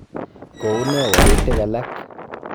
Kounee wolutiik alaak.